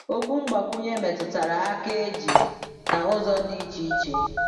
Okwu mgbakwunye metụtara aka eji na ụzọ dị iche iche.